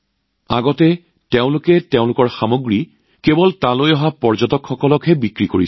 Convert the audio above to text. আগতে তেওঁলোকে নিজৰ সামগ্ৰী কেৱল তালৈ অহা পৰ্যটককহে বিক্ৰী কৰিছিল